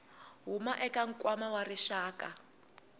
huma eka nkwama wa rixaka